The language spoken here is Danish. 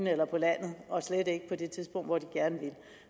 eller på landet og slet ikke på det tidspunkt hvor de gerne vil